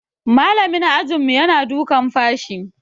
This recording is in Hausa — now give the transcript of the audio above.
Malamin ajinmu yana dukan fashi.